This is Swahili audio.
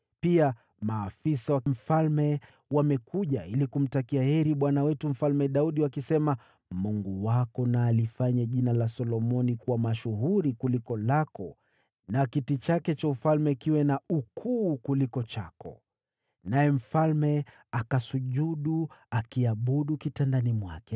Pia, maafisa wa mfalme wamekuja ili kumtakia heri bwana wetu Mfalme Daudi wakisema, ‘Mungu wako na alifanye jina la Solomoni kuwa mashuhuri kuliko lako na kiti chake cha ufalme kiwe na ukuu kuliko chako!’ Naye mfalme akasujudu akiabudu kitandani mwake